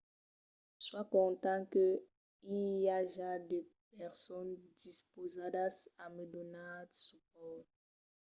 soi content que i aja de personas dispausadas a me donar supòrt